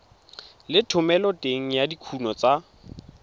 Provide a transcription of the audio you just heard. le thomeloteng ya dikuno tsa